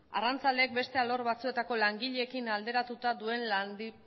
arrantzaleek beste alor batzuetako langileekin alderatuta duen